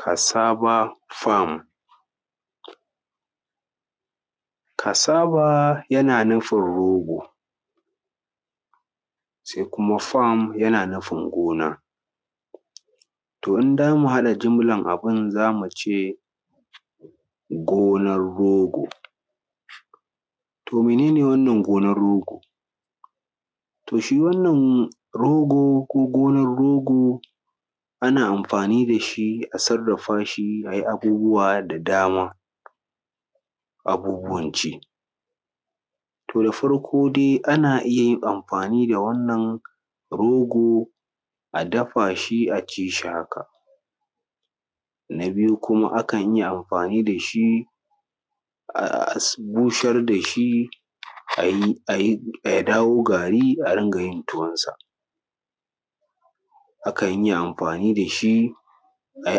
Kasaba fam kasaba yana nufin rogo se kuma fam yana nufin gona to in damu haɗa jumlan abun za mu ce gonan rogo to mene ne wannan gonan rogo to shi wannan rogo ko gonan rogo ana amfani da shi a sarrafa shi a yi abubbuwa da dama abubbuwan ci. To da farko dai ana iya yin amfani da wannan rogo a dafa shi a ci shi haka na biyu kuma akan iya amfani da shi a busar da shi a yi a yi ya dawo gari a rinka yin tuwansa akan iya amfani da shi a yi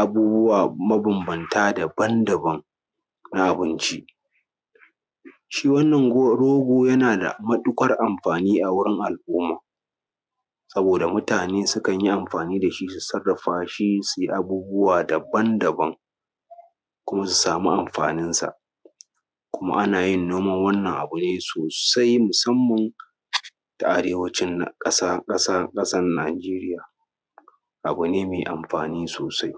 abubbuwa mabanbanta daban daban na abinci shi wannan rogo yana matuƙar da amfani a wurin al’umma saboda mutane sukan yi amfani da shi su sarrafa shi su yi abubbuwa daban-daban ko su sami amfaninsa kuma ana yin noman wannan abu ne sosai musamman da arewacin ƙasa ƙasa ƙasan Najeriya abu ne me amfani sosai.